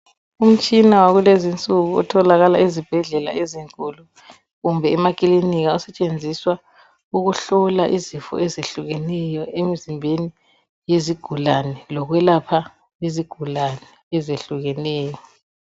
Umtshina wakulezinsuku otholakala ezibhedlela ezinkulu kumbe emaklinika, usetshenziswa ukuhlola izifo ezehlukeneyo emzimbeni yezigulani lokwelapha izigulani ezehlukeneyo.